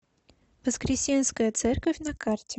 воскресенская церковь на карте